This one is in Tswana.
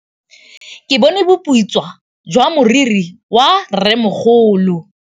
Ke bone boputswa jwa meriri ya rrêmogolo.